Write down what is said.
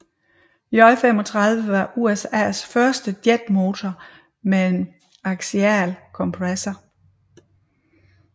J35 var USAs første jetmotor med en aksial kompressor